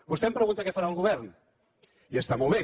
vostè em pregunta què farà el govern i està molt bé